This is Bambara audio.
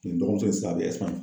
Nin dɔgɔmuso sisan a bɛ